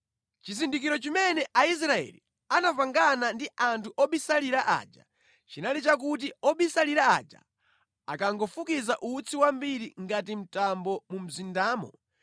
Chizindikiro chimene Aisraeli anapangana ndi anthu obisalira aja chinali chakuti obisalira aja akangofukiza utsi wambiri ngati mtambo mu mzindamo,